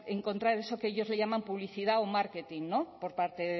encontrar eso que ellos le llaman publicidad o marketing por parte